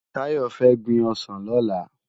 Tayo fè gbin òsán lòlá